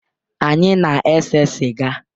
Anyị na-ese sịga